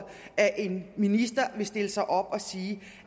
at en minister vil stille sig op og sige